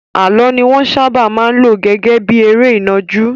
Àlọ́ ni wọ́n sábà máa ń lò gẹ́gẹ́ bí eré ìnàjú.